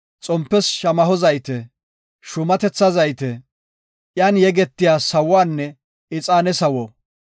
xompes shamaho zayte, shuumatetha zayte, iyan yegetiya sawuwanne ixaane sawo,